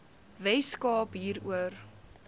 wes kaap hieroor